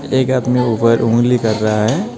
एक आदमी ऊपर उंगली कर रहा है.